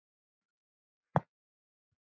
OG SVO KOM SÓLIN UPP.